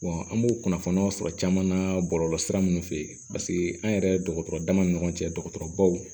an b'o kunnafoniyaw sɔrɔ caman na bɔlɔlɔsira ninnu fɛ an yɛrɛ dɔgɔtɔrɔ dama ni ɲɔgɔn cɛ dɔgɔtɔrɔbaw